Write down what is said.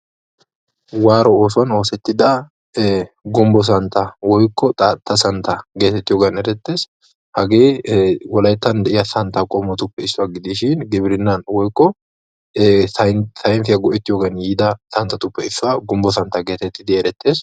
waaro oosuwani eretiya gumbo santta woykko xaatta santta gettetessi.